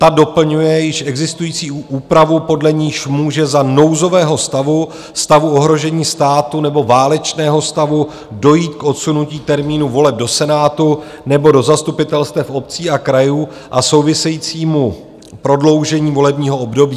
Ta doplňuje již existující úpravu, podle níž může za nouzového stavu, stavu ohrožení státu nebo válečného stavu dojít k odsunutí termínu voleb do Senátu nebo do zastupitelstev obcí a krajů a souvisejícímu prodloužení volebního období.